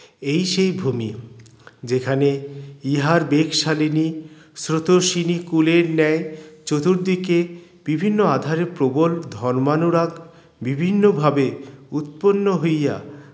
এই সেই ভূমি যেখানে ইহার বেগ শালীনি স্রোতস্বিনী কুলের ন্যায় চতুর্দিকে বিভিন্ন আধারে প্রবল ধর্মানুরাগ বিভিন্ন ভাবে উৎপন্ন হইয়া